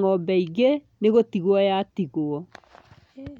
ng'ombe ingĩ, nĩ gũtigwo yatigwo.